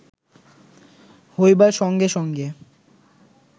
হইবার সঙ্গে সঙ্গে